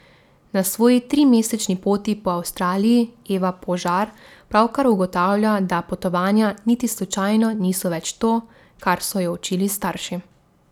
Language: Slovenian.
Na svoji trimesečni poti po Avstraliji Eva Požar pravkar ugotavlja, da potovanja niti slučajno niso več to, kar so jo učili starši.